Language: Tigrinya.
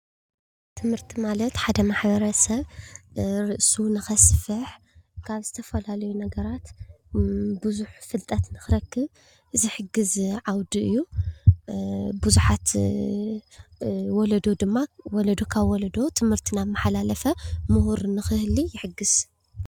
ትምህርቲ ማለት ሓደ ማ/ሰብ ርእሱ ንኸስፍሕ ካብ ዝተፈላለዩ ነገራት ብዙሕ ፍልጠት ንኽረክብ ዝሕግዝ ዓውዲ እዩ፡፡ ብዙሓት ወለዶ ድማ ወለዶ ካብ ወለዶ ትምህርቲ እናማሓላለፈ ምሁር ንኽህሊ ይሕግዝ፡፡